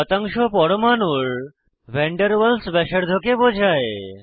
শতাংশ পরমাণুর van der Waals ব্যাসার্ধকে বোঝায়